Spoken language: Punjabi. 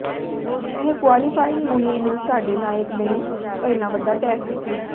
ਇਹ ਕੁਆਲੀਫਾਇੰਗ ਮੁਹਿੰਮ ਨੂੰ ਸਾਡੇ ਨਾਇਕ ਲਈ ਪਹਿਲਾ ਵੱਡਾ ਟੈਸਟ ਸੀ